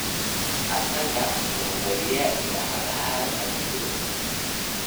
Asaka wa wariye idacadha radio.